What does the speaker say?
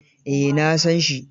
Eh, na san shi.